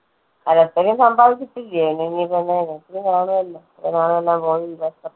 പലപ്പഴും സമ്പാദിച്ചിട്ടില്ലയോ